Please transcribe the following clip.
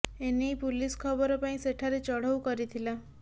ଏ ନେଇ ପୁଲିସ ଖବର ପାଇ ସେଠାରେ ଚଢଉ କରିଥିଲା